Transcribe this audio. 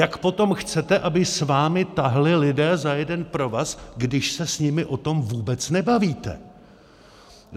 Jak potom chcete, aby s vámi táhli lidé za jeden provaz, když se s nimi o tom vůbec nebavíte?